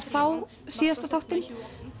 þá síðasta þáttinn